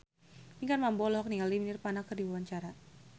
Pinkan Mambo olohok ningali Nirvana keur diwawancara